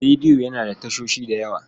Rediyo yana da tashoshi da yawa.